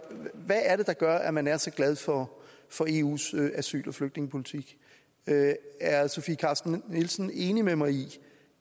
hvad er det der gør at man er så glad for for eus asyl og flygtningepolitik er sofie carsten nielsen enig med mig i